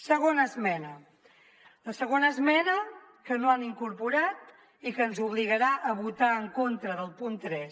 segona esmena la segona esmena que no han incorporat i que ens obligarà a vo·tar en contra del punt tres